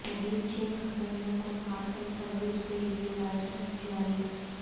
مزید چھ کمپنیوں کو پارسل سروس کے لیے لائسنس جاری